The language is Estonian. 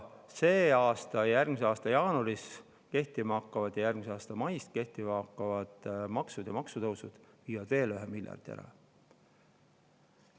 See aasta ja järgmise aasta jaanuaris kehtima hakkavad ja järgmise aasta mais kehtima hakkavad maksud ja maksutõusud viivad veel ühe miljardi ära.